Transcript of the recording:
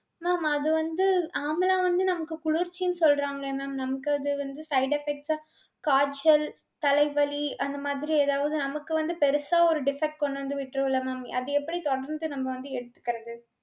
mam அது வந்து amla வந்து நமக்கு குளிர்ச்சினு சொல்றாங்களே mam. நமக்கு அது வந்து side effect ஆ காய்ச்சல் தலைவலி அந்த மாதிரி ஏதாவது நமக்கு வந்து பெருசா ஒரு defect கொண்டு வந்து விட்டுரும் இல்ல mam. அது எப்படி தொடர்ந்து நம்ம வந்து எடுத்துக்கிறது.